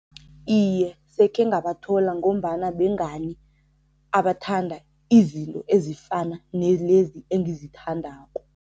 Iye, sekhe ngabathola ngombana bengani abathanda izinto ezifana nelezi engizithandako.